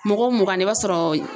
Mɔgɔ mugan na i b'a sɔrɔ